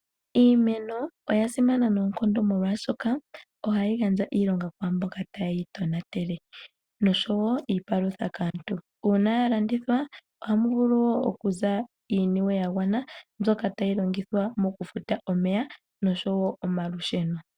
Iimeno oyasimana noonkondo , molwaashoka ohayi gandja iilonga kwaamboka teyeitonatele nosho woo iipalutha kaantu, uuna yalandithwa ohamu vulu okuza iiyemo yagwana mbyoka hayi longithwa okufuta omeya nosho woo omalusheno.